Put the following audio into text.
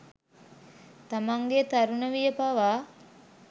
තමන්ගේ තරුණ විය පවා